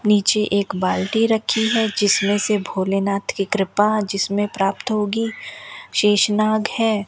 नीचे एक बाल्टी रखी है जिसमें से भोलेनाथ की कृपा जिसमें प्राप्त होगी शेषनाग है।